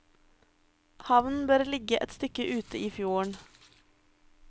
Havnen bør ligge et stykke ute i fjorden.